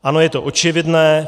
Ano, je to očividné.